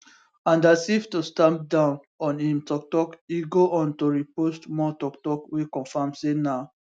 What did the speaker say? and as if to stamp down on im toktok e go on to repost more toktok wey confam say na